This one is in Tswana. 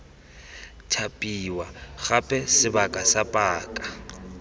thapiwa gape sebaka sa paka